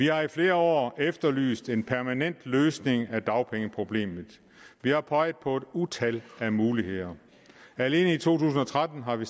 har i flere år efterlyst en permanent løsning af dagpengeproblemet vi har peget på et utal af muligheder alene i to tusind og tretten har vi